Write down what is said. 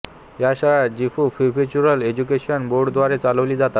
या शाळा Gifu prefectural education बोर्डद्वारे चालविली जातात